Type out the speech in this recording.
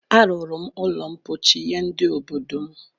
A rụrụ m ụlọ ḿkpóchí nye ndị obodo m